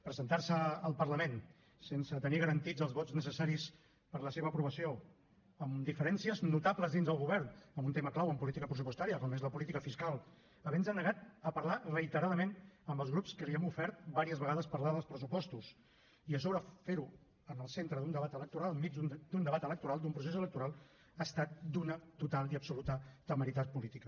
presentar se al parlament sense tenir garantits els vots necessaris per a la seva aprovació amb diferències notables dins del govern en un tema clau en política pressupostària com és la política fiscal havent se negat a parlar reiteradament amb els grups que li hem ofert diverses vegades parlar dels pressupostos i a sobre fer ho en el centre d’un debat electoral enmig d’un debat electoral d’un procés electoral ha estat d’una total i absoluta temeritat política